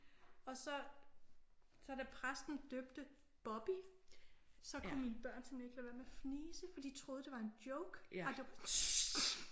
Og så så da præsten døbte Bobby så kunne mine børn simpelthen ikke lade være med at fnise for de troede det var en joke og det